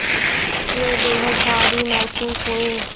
वे बेहद भारी महसूस हुए